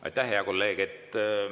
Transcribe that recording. Aitäh, hea kolleeg!